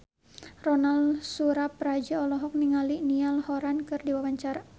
Ronal Surapradja olohok ningali Niall Horran keur diwawancara